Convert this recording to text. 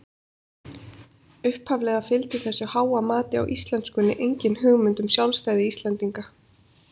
Upphaflega fylgdi þessu háa mati á íslenskunni engin hugmynd um sjálfstæði Íslendinga.